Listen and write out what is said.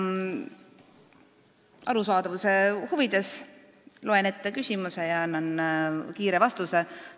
Arusaadavuse huvides loen ette küsimuse ja annan kiire vastuse.